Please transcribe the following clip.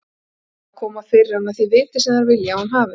Reyna að koma fyrir hana því viti sem þær vilja að hún hafi.